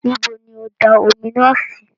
Nibo ni ó da omi naa sì?